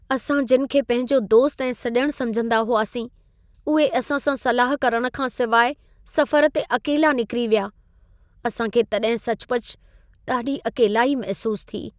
असां जिन खे पंहिंजो दोस्त ऐं सॼण समिझंदा हुआसीं, उहे असां सां सलाह करणु खां सवाइ सफ़रु ते अकेला निकिरी विया। असां खे तॾहिं सचुपचु ॾाढी अकेलाई महिसूसु थी।